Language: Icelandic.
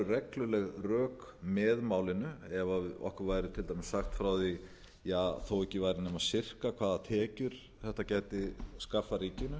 regluleg rök með málinu ef okkur væri til dæmis sagt frá því þó ekki væri nema sirka hvaða tekjur þetta gæti skapað ríkinu